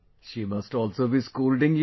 She must also be scolding you